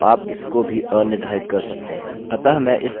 अतः मैं इस name कुकीcookie को अनिर्धारित करूँगा